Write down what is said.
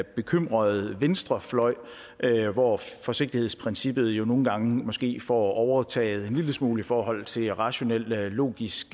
bekymrede venstrefløj hvor forsigtighedsprincippet jo nogle gange måske får overtaget en lille smule i forhold til rationel logisk